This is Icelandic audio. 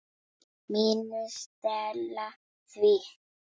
MÍNU. Stela því?